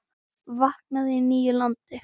Vaknaði í nýju landi.